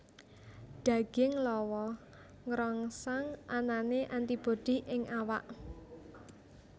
Daging lawa ngrangsang anané antibodi ing awak